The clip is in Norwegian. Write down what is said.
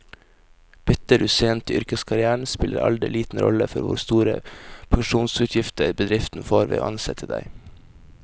Bytter du sent i yrkeskarrieren, spiller alder liten rolle for hvor store pensjonsutgifter bedriften får ved å ansette deg.